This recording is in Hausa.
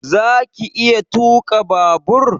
Zaka iya tuka babur?